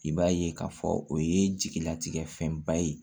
I b'a ye k'a fɔ o ye jigilatigɛ fɛnba ye